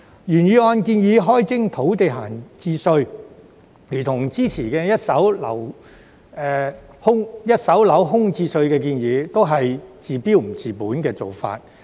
原議案建議開徵土地閒置稅，但這如同之前一手樓空置稅的建議，都是治標不治本。